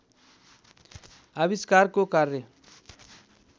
आविष्कारको कार्य